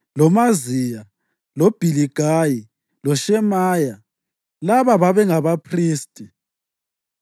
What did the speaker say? loMaziya, loBhiligayi loShemaya. Laba babe ngabaphristi.